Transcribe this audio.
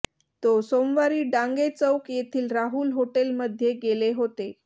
तो सोमवारी डांगे चौक येथील राहुल हॉटेलमध्ये गेले होते